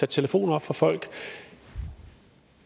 telefoner op for folk